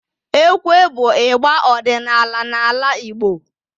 Ekwe bụ igba ọdịnala n'ala Igbo